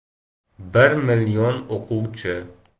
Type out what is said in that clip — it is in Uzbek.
“Bir million o‘quvchi.